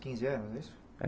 Quinze anos, é isso? É